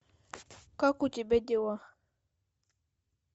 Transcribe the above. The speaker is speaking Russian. как у тебя дела